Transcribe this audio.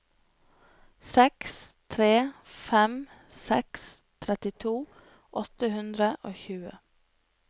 seks tre fem seks trettito åtte hundre og tjue